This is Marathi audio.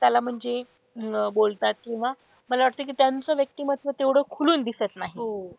त्याला म्हणजे बोलतात किंवा मला वाटत कि त्यांचं व्यक्तिमत्व तेवढं खुलून दिसत नाही.